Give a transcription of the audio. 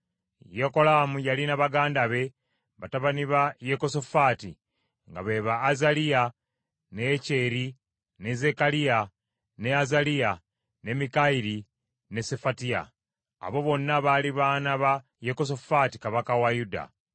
Yekolaamu yalina baganda be, batabani ba Yekosafaati, nga be ba Azaliya, ne Yekyeri, ne Zekkaliya, ne Azaliya, ne Mikayiri ne Sefatiya. Abo bonna bali baana ba Yekosafaati kabaka wa Yuda.